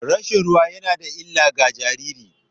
Rashin ruwa yana da illa ga jariri.